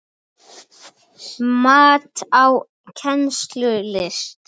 Mat á kennslu í listum